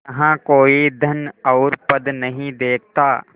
यहाँ कोई धन और पद नहीं देखता